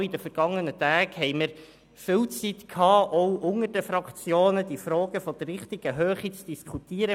Auch während der vergangenen Tage hatten wir viel Zeit, um die Fragen der richtigen Höhe auch unter den Fraktionen zu diskutieren.